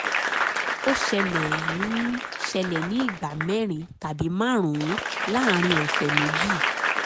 ó ṣẹlẹ̀ ní ṣẹlẹ̀ ní ìgbà mẹ́rin tàbí márùn-ún láàárín ọ̀sẹ̀ méjì